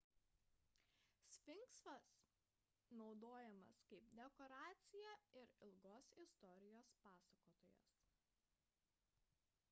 sfinksas naudojamas kaip dekoracija ir ilgos istorijos pasakotojas